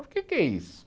O que é que é isso?